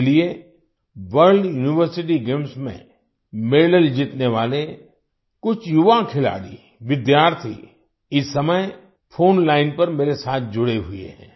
इसलिए World University Games में medal जीतने वाले कुछ युवा खिलाड़ी विद्यार्थी इस समय फोन लाइन फोन लाइन पर मेरे साथ जुड़े हुए हैं